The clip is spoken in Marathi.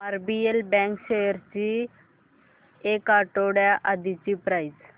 आरबीएल बँक शेअर्स ची एक आठवड्या आधीची प्राइस